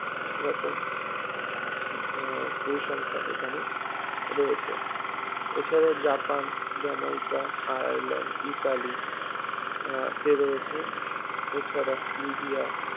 এরকম আহ পরিসংখ্যান এখানে রয়েছে এছাড়াও জাপান, জ্যামাইকা, আয়ারলেন্ড, ইতালি আহ কে রয়েছে এছাড়া লিবিয়া